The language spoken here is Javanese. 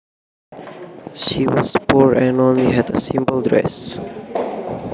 She was poor and only had a simple dress